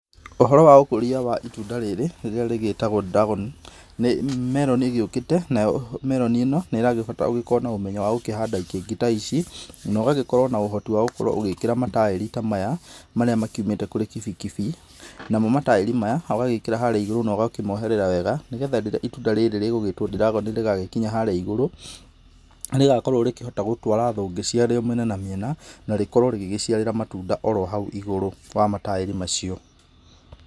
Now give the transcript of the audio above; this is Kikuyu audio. Ũhoro wa ũkũria wa itunda rĩrĩ rĩrĩa rĩgĩtagwo dragon nĩ meroni ĩgĩũkĩte nayo meroni ĩno nĩrabatara ũgĩkorwo na ũmenyo wa gũkĩhanda ikĩngĩ ta ici no ũgagĩkorwo na ũhoti wa gũgĩkĩra mataĩri ta maya marĩa makiũmĩte kũrĩ kibikibi, namo mataĩri maya ũgagĩkĩra harĩa igurũ na ũkamoherera wega nĩgetha rĩrĩa itunda rĩrĩ rĩgagĩkinya harĩa igũrũ rĩgagĩkorwo gũkĩra thũngĩ cia mĩena na mĩena na rĩkorwo rĩgĩgíĩciarĩra matunda orohau igurũ kwa mataĩri macio.